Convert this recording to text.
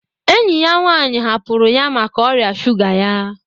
Enyi ya nwaanyi hapụrụ ya maka oria sụga ya.